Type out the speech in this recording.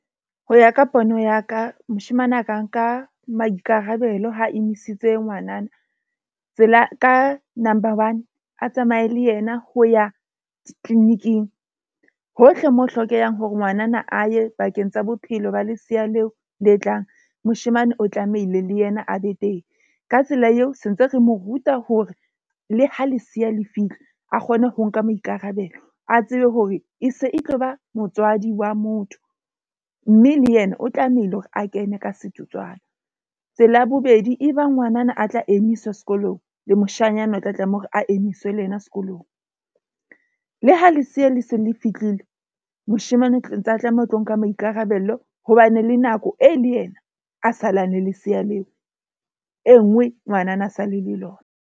Ho ya ka pono ya ka, moshemane a ka nka maikarabelo ha emisitse ngwanana. Tsela ka number one, a tsamaye le yena ho ya clinic-ing hohle mo ho hlokehang hore ngwanana a ye bakeng tsa bophelo ba lesea leo le tlang. Moshemane o tlamehile le yena a be teng. Ka tsela eo se ntse re mo ruta hore le ha leseya le fihla a kgone ho nka maikarabelo, a tsebe hore e se e tloba motswadi wa motho. Mme le yena o tlamehile hore a kene ka setotswana. Tsela ya bobedi, e bang ngwanana a tla emiswa sekolong le moshanyana o tla tlameha hore a emiswe le yena sekolong. Le ha Leseya le se le fihlile, moshemane o tlo tlameha ho tlo nka maikarabelo ho ba ne le nako e le yena a salang le lesea leo. E nngwe ngwanana a sa le le lona.